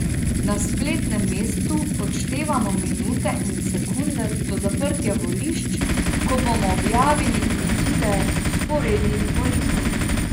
Na spletnem mestu odštevamo minute in sekunde do zaprtja volišč, ko bomo objavili izide vzporednih volitev.